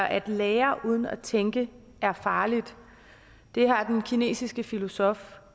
at lære uden at tænke er farligt har den kinesiske filosof